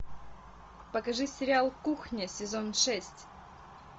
покажи сериал кухня сезон шесть